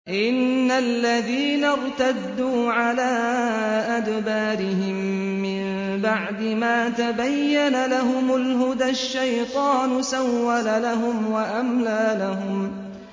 إِنَّ الَّذِينَ ارْتَدُّوا عَلَىٰ أَدْبَارِهِم مِّن بَعْدِ مَا تَبَيَّنَ لَهُمُ الْهُدَى ۙ الشَّيْطَانُ سَوَّلَ لَهُمْ وَأَمْلَىٰ لَهُمْ